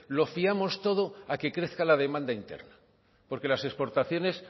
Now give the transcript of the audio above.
lo fiamos todo a que crezca la demanda interna porque las exportaciones